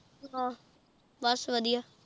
ਅਹ ਬਸ ਵਧੀਆ